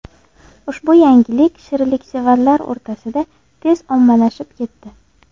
Ushbu yangilik shirinliksevarlar o‘rtasida tezda ommalashib ketdi.